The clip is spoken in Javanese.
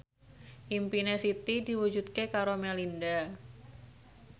impine Siti diwujudke karo Melinda